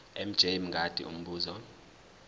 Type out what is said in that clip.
mj mngadi umbuzo